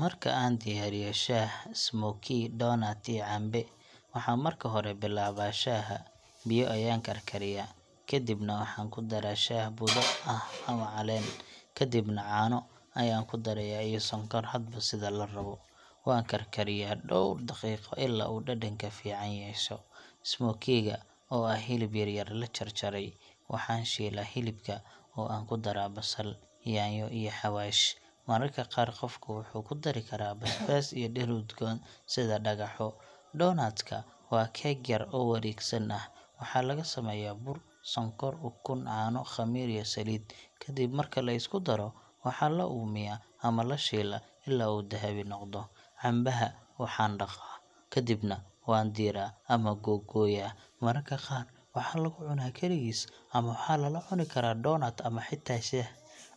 Marka aan diyaarinayo shaah, smoky, doonut, iyo cambe, waxaan marka hore bilaabaa shaaha. Biyo ayaan karkariyaa, kadibna waxaan ku daraa shaah budo ah ama caleen, kadibna caano ayaan ku darayaa iyo sonkor hadba sida la rabo. Waan karkariyaa dhowr daqiiqo ilaa uu dhadhanka fiican yeesho. Smoky ga, oo ah hilib yar-yar la jarjaray, waxaan shiilaa hilibka oo aan ku daraa basal, yaanyo, iyo xawaash. Mararka qaar qofku wuxuu ku dari karaa basbaas iyo dhir udgoon sida dhagaxo. Doonut ka waa keeg yar oo wareegsan ah. Waxaa laga sameeyaa bur, sonkor, ukun, caano, khamiir, iyo saliid. Kadib marka la isku daro, waxaa la uumiyaa ama la shiilaa ilaa uu dahabi noqdo. Cambaha waxaan dhaqaa, kadibna waan diiraa ama googooyaa. Mararka qaar waxaa lagu cunaa kaligiis, ama waxaa lala cuni karaa doonut ama xitaa shaah.